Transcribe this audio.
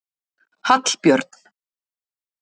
Hallbjörn